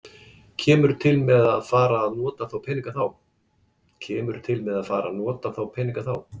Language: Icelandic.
Kemur til með að fara að nota þá peninga þá?